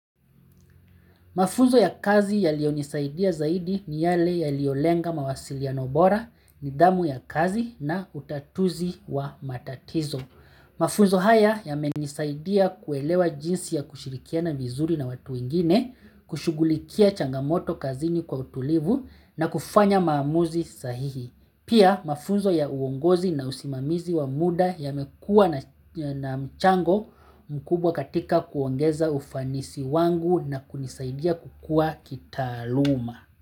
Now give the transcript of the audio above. Mafunzo ya kazi yalionisaidia zaidi ni yale yaliolenga mawasilino bora, nidhamu ya kazi na utatuzi wa matatizo. Mafunzo haya yamenisaidia kuelewa jinsi ya kushirikiana vizuri na watu wengine, kushughulikia changamoto kazini kwa utulivu na kufanya maamuzi sahihi. Pia mafunzo ya uongozi na usimamizi wa muda yamekuwa na mchango mkubwa katika kuongeza ufanisi wangu na kunisaidia kukua kitaaluma.